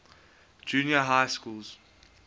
junior high schools